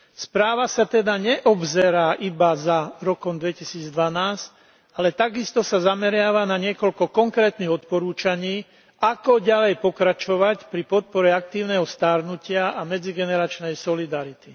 Správa sa teda neobzerá iba za rokom 2012, ale takisto sa zameriava na niekoľko konkrétnych odporúčaní, ako ďalej pokračovať pri podpore aktívneho starnutia a medzigeneračnej solidarity.